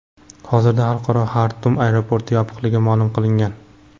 Hozirda xalqaro Xartum aeroporti yopiqligi ma’lum qilingan.